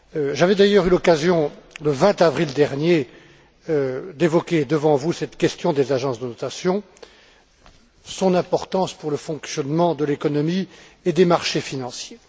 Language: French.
J'avais d'ailleurs eu l'occasion, le 20 avril dernier, d'évoquer devant vous cette question des agences de notation, leur importance pour le fonctionnement de l'économie et des marchés financiers.